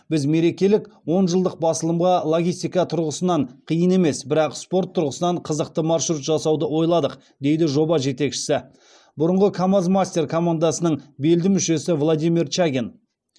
біз мерекелік он жылдық басылымға логистика тұрғысынан қиын емес бірақ спорт тұрғысынан қызықты маршрут жасауды ойладық дейді жоба жетекшісі бұрынғы камаз мастер командасының белді мүшесі владимир чагин